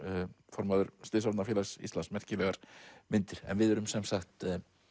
formaður Íslands merkilegar myndir en við erum sem sagt